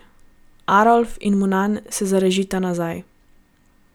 Arolf in Munan se zarežita nazaj.